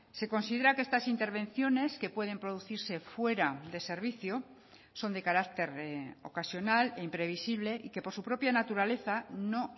se considera que estas intervenciones que pueden producirse fuera de servicio son de carácter ocasional e imprevisible y que por su propia naturaleza no